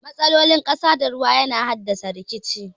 Matsalolin ƙasa da ruwa yana haddasa rikici.